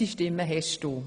unsere Stimmen hast du.